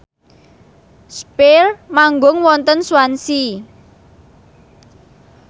spyair manggung wonten Swansea